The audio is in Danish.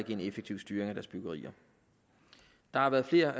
en effektiv styring af deres byggerier der har været flere